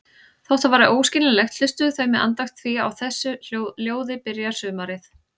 Þótt það væri óskiljanlegt, hlustuðu þau með andakt því á þessu ljóði byrjar sumarið.